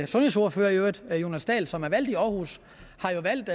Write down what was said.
sundhedsordfører i øvrigt herre jonas dahl som er valgt i aarhus har valgt